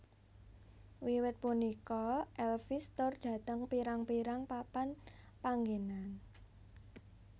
Wiwit punika Elvis tur dhateng pirang pirang papan panggenan